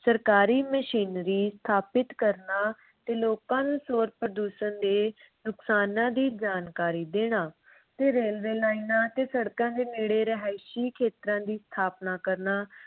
ਸਰਕਾਰੀ ਮਸ਼ੀਨਰੀ ਸਥਾਪਤ ਕਰਨਾ ਤੇ ਲੋਕਾਂ ਨੂੰ ਸ਼ੋਰ ਪ੍ਰਦੂਸ਼ਣ ਦੇ ਨੁਕਸਾਨਾਂ ਦੀ ਜਾਣਕਾਰੀ ਦੇਣਾ ਤੇ ਰੇਲਵੇ ਲਾਈਨਾਂ ਤੇ ਸੜਕਾਂ ਦੇ ਨੇੜੇ ਰਿਹਾਇਸ਼ੀ ਖੇਤਰਾਂ ਦੀ ਸਥਾਪਨਾ ਕਰਨਾ